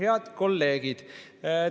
Head kolleegid!